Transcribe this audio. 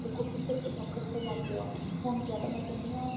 ਦੇਖੋ ਵੀਹ ਪੱਚੀ ਲੱਖ ਰੁਪਿਆ ਲੱਗ ਗਿਆ ਹੁਣ ਜਾ ਤਾਂ ਮੈਂ ਕਿਹਨੀ ਆ